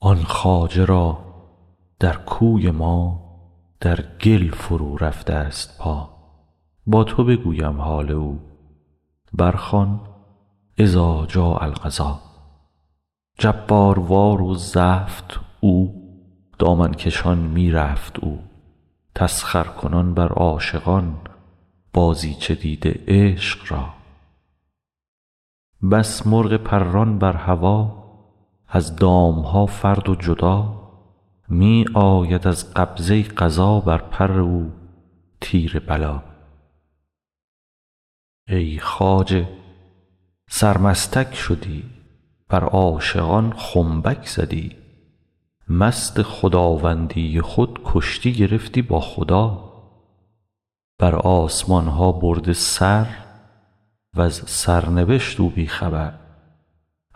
آن خواجه را در کوی ما در گل فرورفته ست پا با تو بگویم حال او برخوان اذا جاء القضا جباروار و زفت او دامن کشان می رفت او تسخرکنان بر عاشقان بازیچه دیده عشق را بس مرغ پران بر هوا از دام ها فرد و جدا می آید از قبضه قضا بر پر او تیر بلا ای خواجه سرمستک شدی بر عاشقان خنبک زدی مست خداوندی خود کشتی گرفتی با خدا بر آسمان ها برده سر وز سرنبشت او بی خبر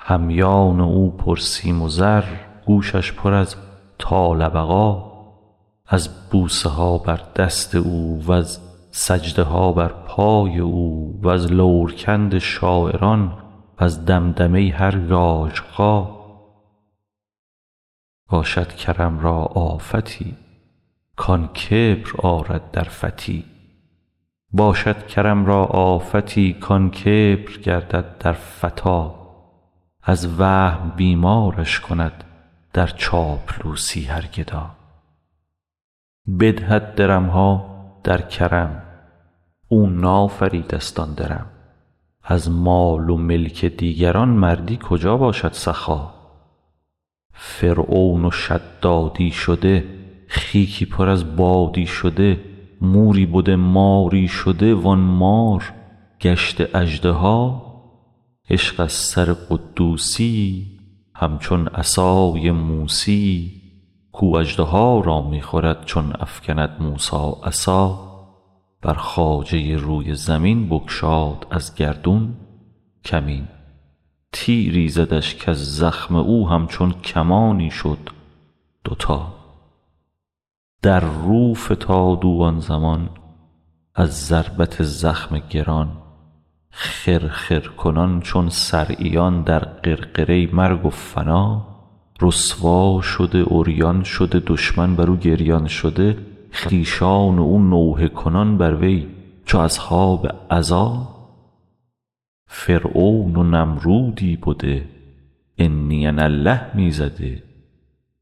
همیان او پرسیم و زر گوشش پر از طال بقا از بوسه ها بر دست او وز سجده ها بر پای او وز لورکند شاعران وز دمدمه هر ژاژخا باشد کرم را آفتی کان کبر آرد در فتی از وهم بیمارش کند در چاپلوسی هر گدا بدهد درم ها در کرم او نافریده ست آن درم از مال و ملک دیگری مردی کجا باشد سخا فرعون و شدادی شده خیکی پر از بادی شده موری بده ماری شده وان مار گشته اژدها عشق از سر قدوسی یی همچون عصای موسی یی کاو اژدها را می خورد چون افکند موسی عصا بر خواجه روی زمین بگشاد از گردون کمین تیری زدش کز زخم او همچون کمانی شد دوتا در رو فتاد او آن زمان از ضربت زخم گران خرخر کنان چون صرعیان در غرغره مرگ و فنا رسوا شده عریان شده دشمن بر او گریان شده خویشان او نوحه کنان بر وی چو اصحاب عزا فرعون و نمرودی بده انی انا الله می زده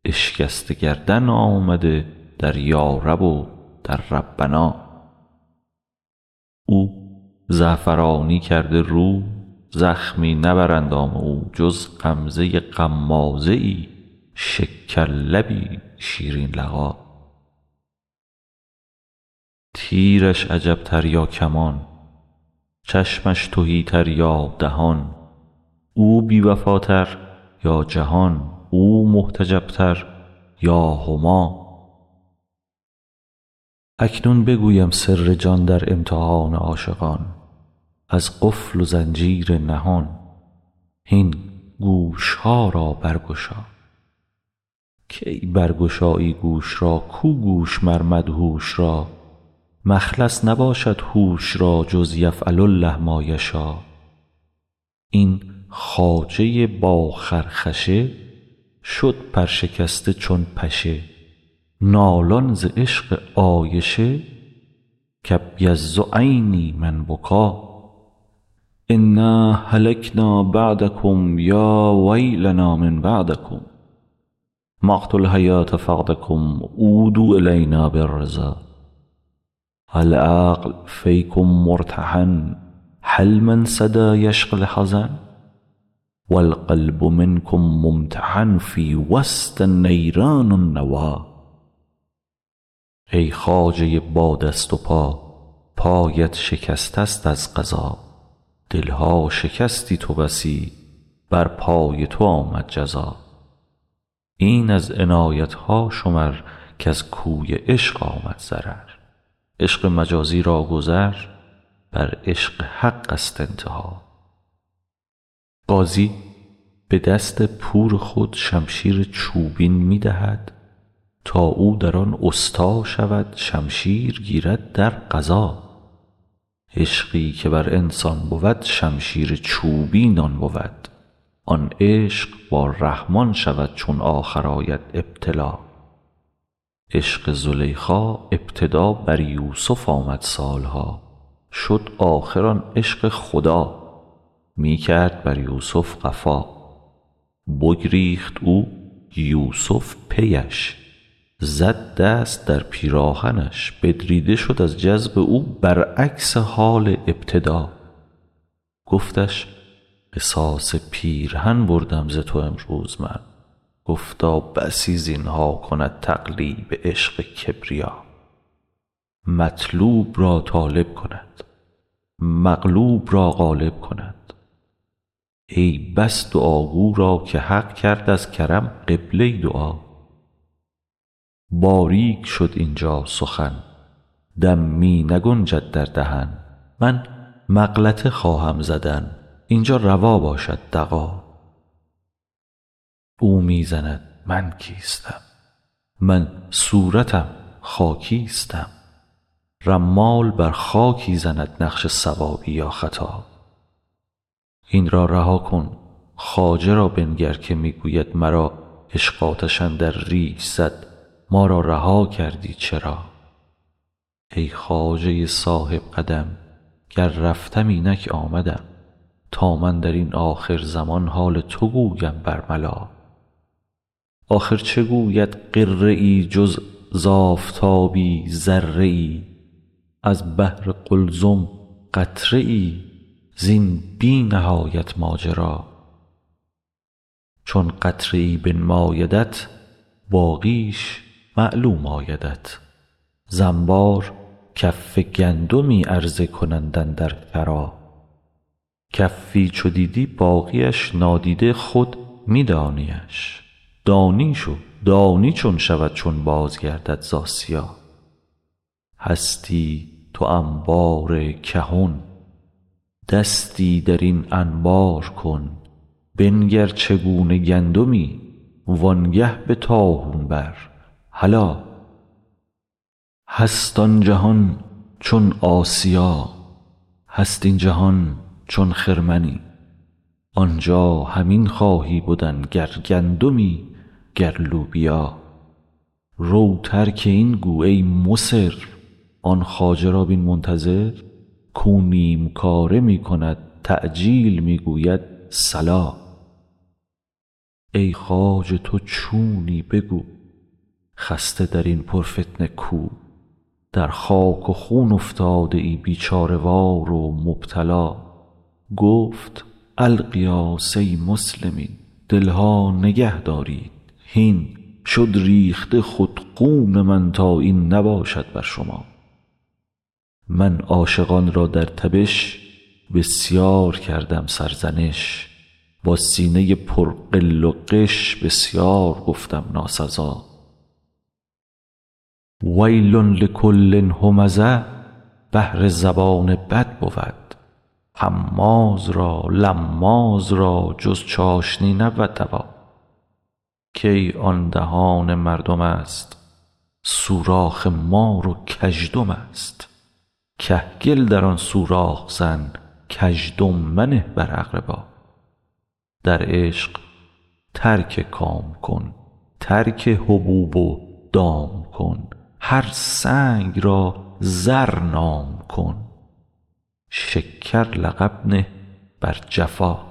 اشکسته گردن آمده در یارب و در ربنا او زعفرانی کرده رو زخمی نه بر اندام او جز غمزه غمازه ای شکرلبی شیرین لقا تیرش عجب تر یا کمان چشمش تهی تر یا دهان او بی وفاتر یا جهان او محتجب تر یا هما اکنون بگویم سر جان در امتحان عاشقان از قفل و زنجیر نهان هین گوش ها را برگشا کی برگشایی گوش را کو گوش مر مدهوش را مخلص نباشد هوش را جز یفعل الله ما یشا این خواجه با خرخشه شد پرشکسته چون پشه نالان ز عشق عایشه کابیض عینی من بکا انا هلکنا بعدکم یا ویلنا من بعدکم مقت الحیوه فقدکم عودوا الینا بالرضا العقل فیکم مرتهن هل من صدا یشفی الحزن و القلب منکم ممتحن فی وسط نیران النوی ای خواجه با دست و پا پایت شکسته ست از قضا دل ها شکستی تو بسی بر پای تو آمد جزا این از عنایت ها شمر کز کوی عشق آمد ضرر عشق مجازی را گذر بر عشق حق ست انتها غازی به دست پور خود شمشیر چوبین می دهد تا او در آن استا شود شمشیر گیرد در غزا عشقی که بر انسان بود شمشیر چوبین آن بود آن عشق با رحمان شود چون آخر آید ابتلا عشق زلیخا ابتدا بر یوسف آمد سال ها شد آخر آن عشق خدا می کرد بر یوسف قفا بگریخت او یوسف پی اش زد دست در پیراهنش بدریده شد از جذب او برعکس حال ابتدا گفتش قصاص پیرهن بردم ز تو امروز من گفتا بسی زین ها کند تقلیب عشق کبریا مطلوب را طالب کند مغلوب را غالب کند ای بس دعاگو را که حق کرد از کرم قبله دعا باریک شد اینجا سخن دم می نگنجد در دهن من مغلطه خواهم زدن این جا روا باشد دغا او می زند من کیستم من صورتم خاکیستم رمال بر خاکی زند نقش صوابی یا خطا این را رها کن خواجه را بنگر که می گوید مرا عشق آتش اندر ریش زد ما را رها کردی چرا ای خواجه صاحب قدم گر رفتم اینک آمدم تا من در این آخرزمان حال تو گویم برملا آخر چه گوید غره ای جز ز آفتابی ذره ای از بحر قلزم قطره ای زین بی نهایت ماجرا چون قطره ای بنمایدت باقیش معلوم آیدت ز انبار کف گندمی عرضه کنند اندر شرا کفی چو دیدی باقی اش نادیده خود می دانی اش دانیش و دانی چون شود چون بازگردد ز آسیا هستی تو انبار کهن دستی در این انبار کن بنگر چگونه گندمی وانگه به طاحون بر هلا هست آن جهان چون آسیا هست این جهان چون خرمنی آنجا همین خواهی بدن گر گندمی گر لوبیا رو ترک این گو ای مصر آن خواجه را بین منتظر کاو نیم کاره می کند تعجیل می گوید صلا ای خواجه تو چونی بگو خسته در این پرفتنه کو در خاک و خون افتاده ای بیچاره وار و مبتلا گفت الغیاث ای مسلمین دل ها نگهدارید هین شد ریخته خود خون من تا این نباشد بر شما من عاشقان را در تبش بسیار کردم سرزنش با سینه پر غل و غش بسیار گفتم ناسزا ویل لکل همزه بهر زبان بد بود هماز را لماز را جز چاشنی نبود دوا کی آن دهان مردم است سوراخ مار و کژدم است کهگل در آن سوراخ زن کزدم منه بر اقربا در عشق ترک کام کن ترک حبوب و دام کن مر سنگ را زر نام کن شکر لقب نه بر جفا